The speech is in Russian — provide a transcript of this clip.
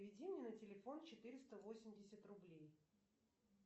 переведи мне на телефон четыреста восемьдесят рублей